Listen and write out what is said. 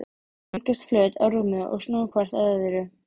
Þau leggjast flöt á rúmið og snúa hvort að öðru.